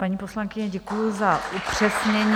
Paní poslankyně, děkuji za upřesnění.